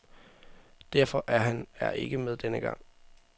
Derfor er han er ikke med denne gang.